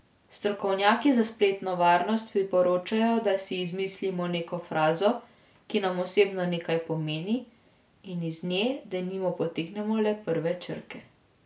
Strokovnjaki za spletno varnost priporočajo, da si izmislimo neko frazo, ki nam osebno nekaj pomeni, in iz nje, denimo, potegnemo le prve črke.